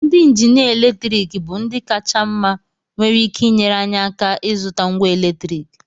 Ndị injinia eletriki bụ ndị kacha mma nwere ike inyere anyị aka ịzụta ngwa eletriki